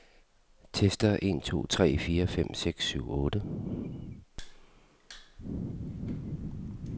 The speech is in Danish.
Tester en to tre fire fem seks syv otte.